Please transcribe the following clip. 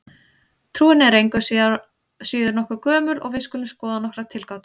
Trúin er engu að síður nokkuð gömul og við skulum skoða nokkrar tilgátur.